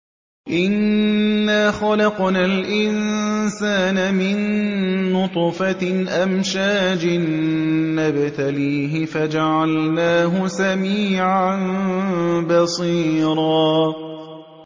إِنَّا خَلَقْنَا الْإِنسَانَ مِن نُّطْفَةٍ أَمْشَاجٍ نَّبْتَلِيهِ فَجَعَلْنَاهُ سَمِيعًا بَصِيرًا